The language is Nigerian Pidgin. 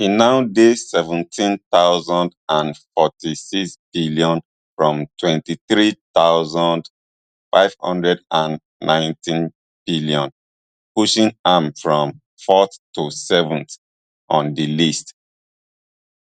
e now dey seventeen thousand and forty-sixbn from twenty-three thousand, five hundred and nineteenbn pushing am from fourth to seventh on di list